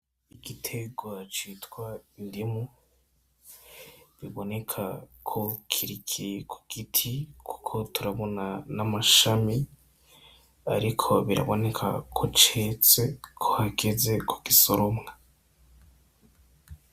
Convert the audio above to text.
Igiterwa citwa indimu biboneka ko kikiri ku giti kuko turabona n'amashami ariko biraboneka ko ceze ko hageze ko gisoromwa.